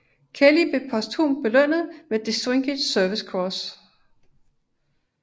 Kelly blev posthumt belønnet med Distinguished Service Cross